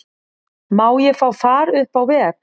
Má ég fá far upp á veg?